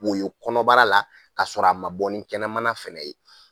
Wo ye kɔnɔbara la k'a sɔrɔ a ma bɔ ni kɛnɛmana fana ye.